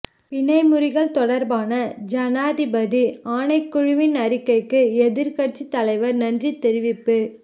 பிணை முறிகள் தொடர்பான ஜனாதிபதி ஆணைக்குழுவின் அறிக்கைக்கு எதிர்க்கட்சி தலைவர் நன்றி தெரிவிப்பு